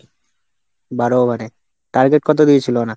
বারো over এ target কত দিয়েছিল ওরা?